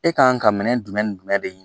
E k'an ka minɛn jumɛn ni jumɛn de ɲini